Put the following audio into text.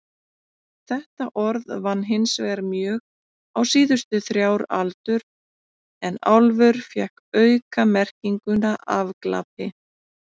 Þetta orð vann hinsvegar mjög á síðustu þrjár aldur en álfur fékk aukamerkinguna afglapi.